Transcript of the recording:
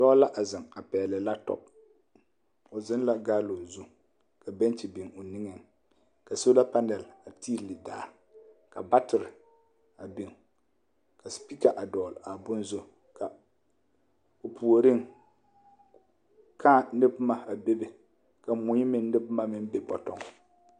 Dɔɔ laaziŋa pɛgle laptɔm o ziŋ la gaalo zu ka bɛŋkyi biŋ o niŋeŋ ka soola pɛnɛl a tiile daa ka batire a biŋ ka supika a dɔgl a bon zu ka o puoriŋ kaa ne boma a bebe ka mui meŋ ne boma be bɔtɔŋ.